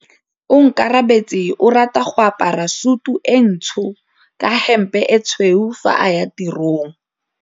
Onkabetse o rata go apara sutu e ntsho ka hempe e tshweu fa a ya tirong.